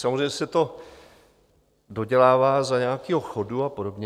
Samozřejmě se to dodělává za nějakého chodu a podobně.